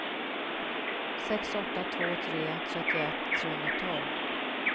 sex åtta två tre trettioett trehundratolv